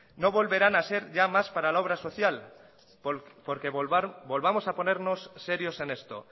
no volverán a ser ya más para la obra social porque volvamos a ponernos serios en esto